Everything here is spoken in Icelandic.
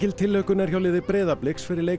tilhlökkun er hjá liði Breiðabliks fyrir leik